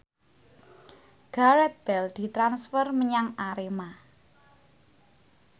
Gareth Bale ditransfer menyang Arema